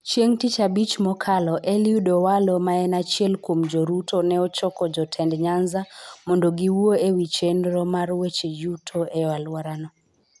Chieng' Tich Abich mokalo, Eliud Owalo ma en achiel kuom jo Ruto ne ochoko jotend Nyanza mondo giwuo e wi chenro mar weche yuto e alworano.